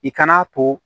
I kan'a to